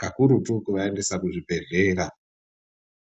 kakurutu kuvaendesa kuzvibhedhlera.